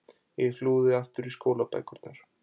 Ég flúði aftur í skólabækurnar.